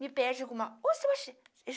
Me pede alguma, o